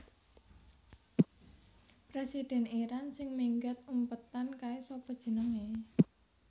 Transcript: Presiden Iran sing minggat umpetan kae sapa jenenge?